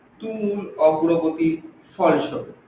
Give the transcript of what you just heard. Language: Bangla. তুমুল অগ্রগতির ফল সহ।